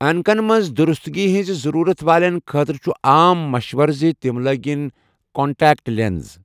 عانكن منز درستگی ہنزِ ضروٗرت والیٚن خٲطرٕ چُھ عام مشوَرٕ زِ تِم لٲگِن کانٛٹیکٹ لینٛس۔